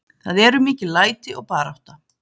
Það eru mikil læti og barátta.